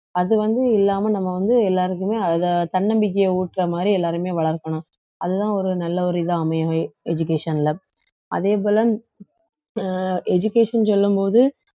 அது வந்து இல்லாம நம்ம வந்து எல்லாருக்குமே அதை தன்னம்பிக்கையை ஊட்டுற மாதிரி எல்லாருமே வளர்க்கணும் அதுதான் ஒரு நல்ல ஒரு இதா அமையும் education ல அதே போல அஹ் education சொல்லும் போது